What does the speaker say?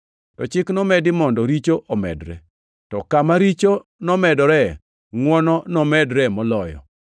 To Chik nomedi mondo richo omedre. To kama richo nomedoree, ngʼwono nomedoree moloyo,